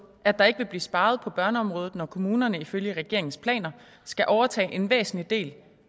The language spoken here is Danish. at der ikke vil blive sparet på børneområdet når kommunerne ifølge regeringens planer skal overtage en væsentlig del